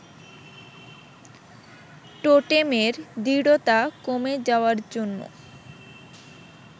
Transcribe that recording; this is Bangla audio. টোটেমের দৃঢ়তা কমে যাওয়ার জন্য